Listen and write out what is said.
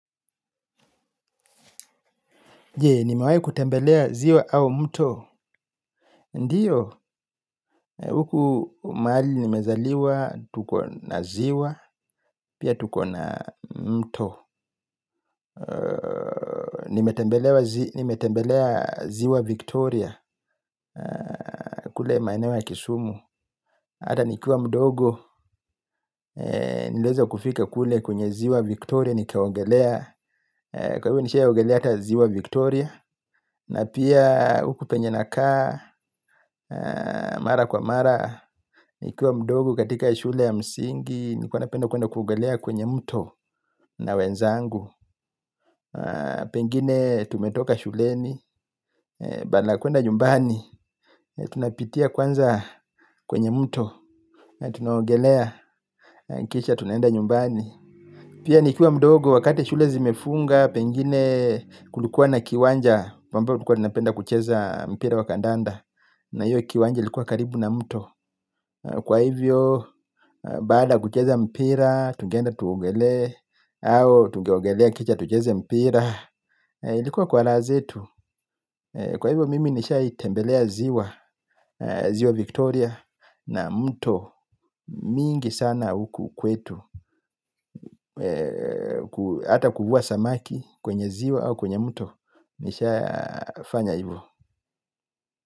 Nimewahi kutembelea ziwa au mto. Ndiyo, huku mahali nimezaliwa, tuko na ziwa, pia tuko na mto. Nimetembelea ziwa Victoria, kule maeneo ya kisumu. Hata nikiwa mdogo, nilieza kufika kule kwenye ziwa Victoria, nikaogelea. Kwa hivo nishiaogelea hata ziwa Victoria Na pia huku penye nakaa, mara kwa mara. Nikiwa mdogo katika shule ya msingi, nilikuwa napenda kuenda kuogelea kwenye mto na wenzangu. Pengine tumetoka shuleni, badala ya kuenda nyumbani, tunapitia kwanza kwenye mto na tunaogelea, kisha tunaenda nyumbani. Pia nikiwa mdogo, wakati shule zimefunga, pengine kulikuwa na kiwanja ambayo tulikua tunapenda kucheza mpira wa kandanda na hiyo kiwanja likuwa karibu na mto. Kwa hivyo baada ya kucheza mpira tungeenda tuogelee au tungeogelea kisha tucheze mpira. Ilikuwa kwa raha zetu. Kwa hivyo mimi nishai tembelea ziwa. Ziwa Victoria Na mto mingi sana huku kwetu. Hata kuvua samaki kwenye ziwa au kwenye mto. Nisha fanya hivo.